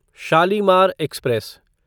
Shalimar express